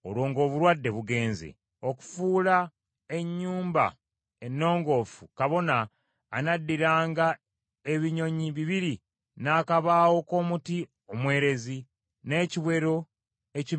Okufuula ennyumba ennongoofu kabona anaddiranga ebinyonyi bibiri n’akabaawo k’omuti omwerezi, n’ekiwero ekimyufu n’ezobu.